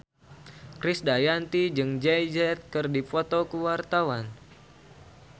Krisdayanti jeung Jay Z keur dipoto ku wartawan